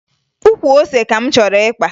Ukwu ose ka m chọrọ ịkpa